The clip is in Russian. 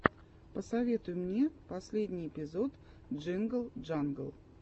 посоветуй мне последний эпизод джингл джангл